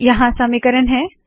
यहाँ समीकरण है